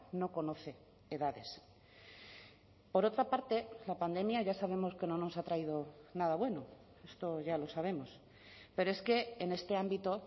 no conoce edades por otra parte la pandemia ya sabemos que no nos ha traído nada bueno esto ya lo sabemos pero es que en este ámbito